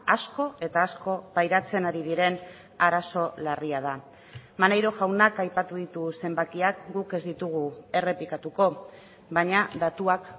asko eta asko pairatzen ari diren arazo larria da maneiro jaunak aipatu ditu zenbakiak guk ez ditugu errepikatuko baina datuak